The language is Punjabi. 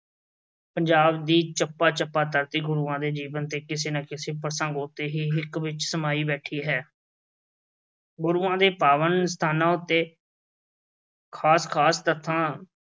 ਚੱਪਾ ਚੱਪਾ ਧਰਤੀ ਗੁਰੂਆਂ ਦੇ ਜੀਵਨ ਤੇ ਕਿਸੇ ਨਾ ਕਿਸੇ ਪ੍ਰਸੰਗ ਉੱਤੇ ਹੀ ਹਿੱਕ ਵਿੱਚ ਸਮਾਈ ਬੈਠੀ ਹੈ। ਗੁਰੂਆਂ ਦੇ ਪਾਵਨ ਸਥਾਨਾਂ ਉੱਤੇ ਖਾਸ-ਖਾਸ ਤੱਥਾਂ